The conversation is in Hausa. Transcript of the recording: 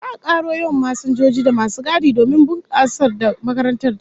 Za'a karo yawan masinjoji da masu gadi domin bunkasar da makarantar tayi